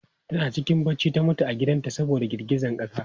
Tana cikin bacci ta mutu a gidan ta saboda girgizan ƙasa.